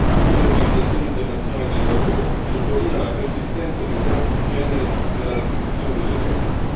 Anche l'Organizzazione internazionale del lavoro sottolinea la persistenza di un gap di genere nella retribuzione delle donne.